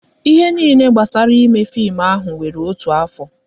Ihe niile gbasara ime fim ahụ wéré otu afọ